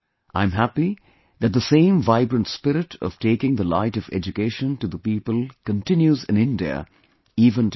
I am happy that the same vibrant spirit of taking the light of education to the people continues in India even today